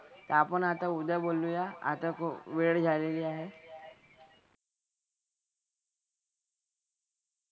तर आता आपण उद्या बोलूया. आता खूप वेळ झालेली आहे.